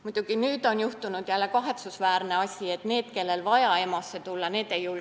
Muidugi nüüd on juhtunud jälle kahetsusväärne lugu, et need, kellel on vaja EMO-sse tulla, ei julge enam tulla.